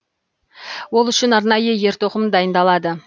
ол үшін арнайы ер тоқым дайындалады